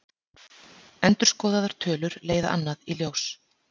Endurskoðaðar tölur leiða annað í ljós